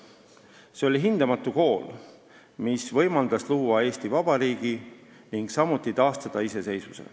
See oli hindamatu kool, mis võimaldas luua Eesti Vabariigi ning tüki aja pärast taastada iseseisvuse.